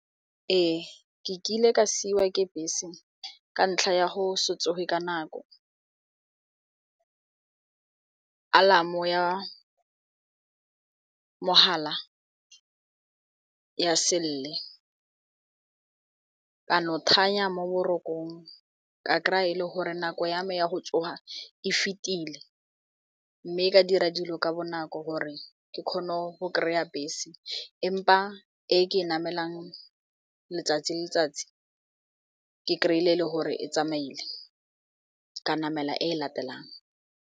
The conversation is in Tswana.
Ee, ke kile ka siiwa ke bese ka ntlha ya go se tsoge ka nako alarmo-o ya mogala ya selele ka no thanya mo borokong ka kry-a le gore nako yame ya go tsoga e fetile mme ka dira dilo ka bonako gore ke kgone go kry-a bese empa e ke e namelang letsatsi le letsatsi ke kry-ile e le gore e tsamaile ka namela e latelang.